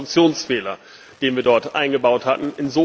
das war ein Konstruktionsfehler, den wir dort eingebaut hatten.